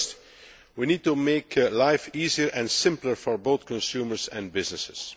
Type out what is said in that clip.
First, we need to make life easier and simpler for both consumers and businesses.